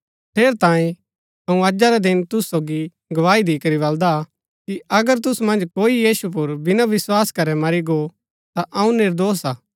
ठेरैतांये अऊँ अजा रै दिन तुसु सोगी गवाही दिकरी बलदा कि अगर तुसु मन्ज कोई यीशु पुर बिना विस्वास करै मरी गो ता अऊँ निर्दोष हा